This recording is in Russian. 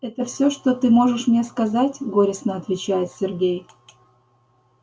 это всё что ты можешь мне сказать горестно отвечает сергей